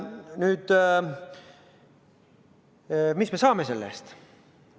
Nüüd, mis me saame selle eest?